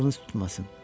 Acığınız tutmasın.